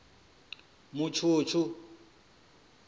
mutshutshu